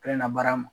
Kelen na baara ma